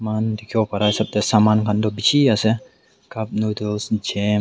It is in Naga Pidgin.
muhan dikhiwo pareh hisap teh saman khan toh bishi ase cup noodles .